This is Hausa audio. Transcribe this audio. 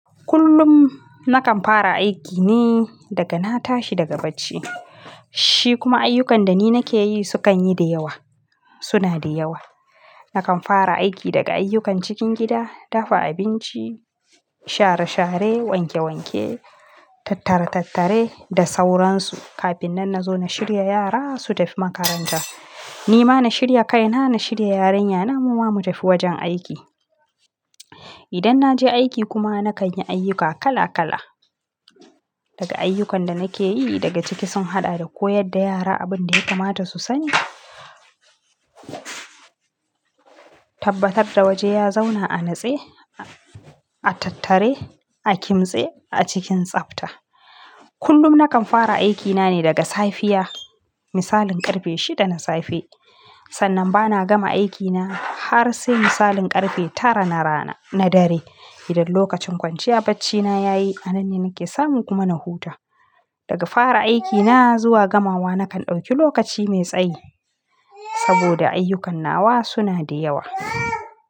Kullum nakan fara aiki ne daga na tashi daga bacci. Shi kuma ayyukan da ni nake yi su kan yi da yawa, suna da yawa. Nakan fara aiki daga ayyukan cikin gida, dafa abinci, share share, wanke wanke, tattara tattare da sauransu. Kafin nan na zo na shirya yara su tafi makaranta. Ni ma na shirya kaina, na shirya yarinyana kuma mu tafi wajen aiki. Idan na je aiki kuma na kan yi ayyuka kala kala. Daga ayyukan da nake yi daga ciki sun haɗa da koyar da yara abin da ya kamata su sani, tabbatar da waje ya zauna a natse, a tattare, a kimtse a cikin tsafta. Kullum nakan fara aikina ne daga safiya misalin karfe shida na safe. Sannan bana gama aikina har sai misalin karfe tara na rana na dare. Idan lokacin kwanciya bacci na ya yi, a nan ne nake samu kuma na huta. Daga fara aikina zuwa gamawa nakan ɗauki lokaci mai tsayi saboda ayyukannawa suna da yawa.